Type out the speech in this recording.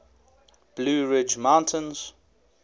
blue ridge mountains